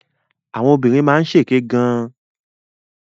Àwọn obìnrin máa ń ṣèké gan.